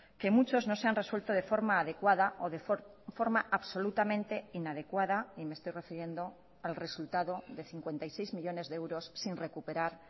que muchos no se han resuelto de forma adecuada o de forma absolutamente inadecuada y me estoy refiriendo al resultado de cincuenta y seis millónes de euros sin recuperar